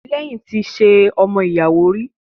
Timilehin ti ṣe ọmọ ìyàwó rí